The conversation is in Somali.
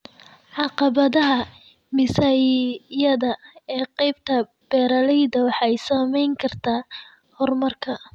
Caqabadaha miisaaniyada ee qaybta beeralayda waxay saamayn kartaa horumarka.